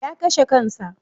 Ya kashe kansa.